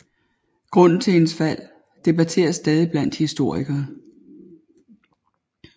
Grunden til hendes fald debatteres stadig blandt historikere